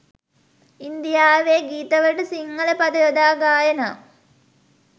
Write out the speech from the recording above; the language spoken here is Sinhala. ඉන්දියාවේ ගීතවලට සිංහල පද යොදා ගායනා